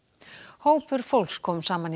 hópur fólks kom saman í